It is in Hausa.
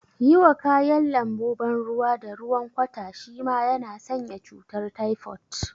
Yiwa kayan lambu ban ruwa da ruwan kwata shima na sanya cutar taifot